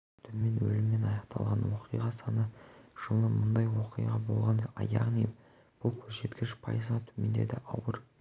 төмен өліммен аяқталған оқиға саны жылы мұндай оқиға болған яғни бұл көрсеткіш пайызға төмендеді ауыр